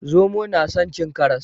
Zomo na san cin karas